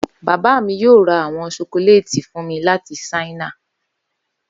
Baba mi yoo ra awọn ṣokolaiti fun mi lati China.